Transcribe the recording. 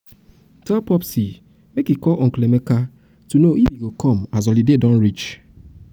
tell popsi make e call uncle emeka know if dem go come as holiday come as holiday don reach.